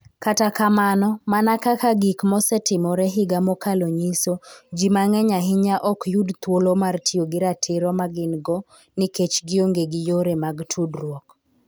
Kata kamano, mana kaka gik mosetimore higa mokalo nyiso, ji mang'eny ahinya ok yud thuolo mar tiyo gi ratiro ma gin-go nikech gionge gi yore mag tudruok.